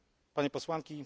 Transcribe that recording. Panie Posłanki!